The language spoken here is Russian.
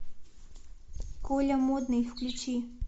коля модный включи